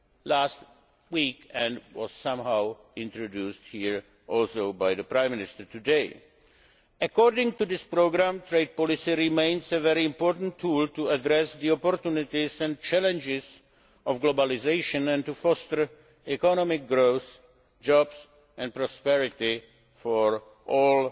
last week and was also introduced here to some extent by the Prime Minister today. According to this programme, trade policy remains a very important tool for addressing the opportunities and challenges of globalisation and fostering economic growth, jobs and prosperity for all